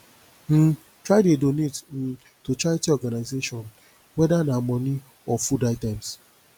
um try de donate um to charity organisation whether na money or food items